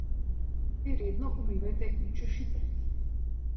Te redno umivajte in češite.